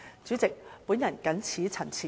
主席，我謹此陳辭。